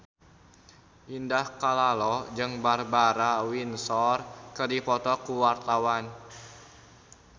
Indah Kalalo jeung Barbara Windsor keur dipoto ku wartawan